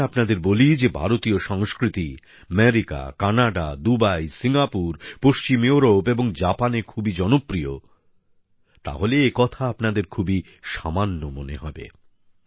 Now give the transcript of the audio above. যদি আমি আপনাদের বলি যে ভারতীয় সংস্কৃতি আমেরিকা কানাডা দুবাই সিঙ্গাপুর পশ্চিম ইউরোপ এবং জাপানে খুবই জনপ্রিয় তাহলে একথা আপনাদের খুবই সামান্য মনে হবে